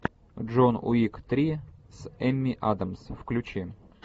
джон уик три с эми адамс включи